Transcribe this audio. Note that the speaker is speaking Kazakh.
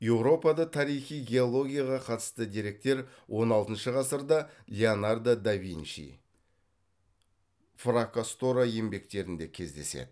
еуропада тарихи геологияға қатысты деректер он алтыншы ғасырда леонардо да винчи фракасторо еңбектерінде кездеседі